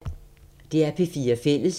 DR P4 Fælles